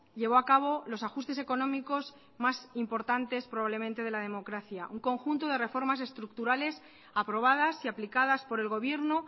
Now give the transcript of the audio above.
llevó a cabo los ajustes económicos más importantes probablemente de la democracia un conjunto de reformas estructurales aprobadas y aplicadas por el gobierno